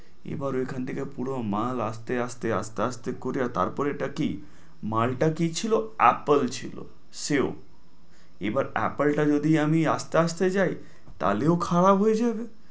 এবার এখান থেকে পুরো মাল আস্তে আস্তে আস্তে আস্তে করে তার পরে এটা কি মালটা কি ছিল apple ছিল, সেও। এবার apple টা যদি আমি আস্তে আস্তে যাই তালেও খারাপ হয়ে যাবে।